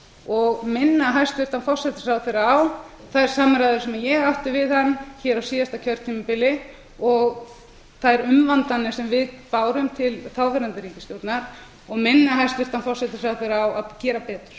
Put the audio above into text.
og minna hæstvirtan forsætisráðherra á þær samræður sem ég átti við hann á síðasta kjörtímabili og þær umvandanir sem við erum til þáverandi ríkisstjórnar og minna hæstvirtan forsætisráðherra á að gera betur